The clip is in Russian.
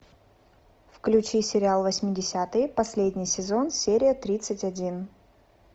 включи сериал восьмидесятые последний сезон серия тридцать один